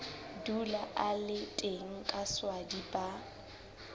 dula a le teng kaswadi ba